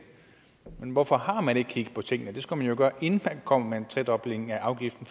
men hvorfor har man ikke kigget på tingene det skulle man jo gøre inden man kom med en tredobling af afgiften